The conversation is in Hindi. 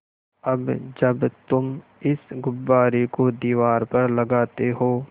अब जब तुम इस गुब्बारे को दीवार पर लगाते हो